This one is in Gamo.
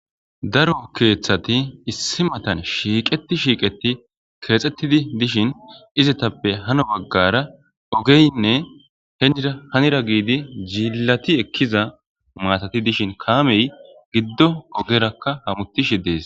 Daro kethati issi matan shiqeti shiqeti kexetidi dishin izetappe hana bagara ogeynne henira hanira jilati ekiza matati dishin kamey gido ogerakka hamutishe des.